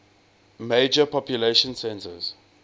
major population centers